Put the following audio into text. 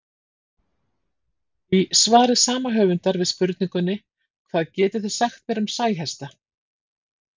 Í svari sama höfundar við spurningunni Hvað getið þið sagt mér um sæhesta?